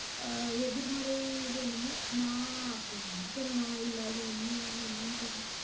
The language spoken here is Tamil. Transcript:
அஹ் எதிர்மறை இது என்னமோ, நான் அப்படி நினைக்கிறேனா இல்லை அது உண்மையா என்னன்னு தெரியலே